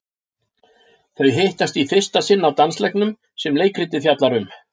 Þau hittast í fyrsta sinn á dansleiknum sem leikritið fjallar um.